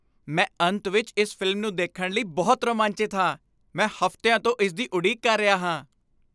ਮੈਂ ਅੰਤ ਵਿੱਚ ਇਸ ਫ਼ਿਲਮ ਨੂੰ ਦੇਖਣ ਲਈ ਬਹੁਤ ਰੋਮਾਂਚਿਤ ਹਾਂ! ਮੈਂ ਹਫ਼ਤਿਆਂ ਤੋਂ ਇਸ ਦੀ ਉਡੀਕ ਕਰ ਰਿਹਾ ਹਾਂ।